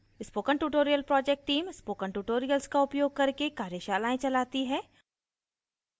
spoken tutorial project team spoken tutorials का उपयोग करके कार्यशालाएं चलाती है